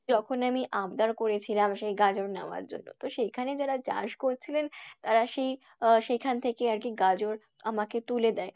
যখন আমি আবদার করেছিলাম সেই গাজর নেওয়ার জন্য, তো সেইখানে যারা চাষ করছিলেন তারা সেই আহ সেইখান থেকে আরকি গাজর আমাকে তুলে দেয়।